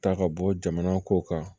Ta ka bɔ jamana ko kan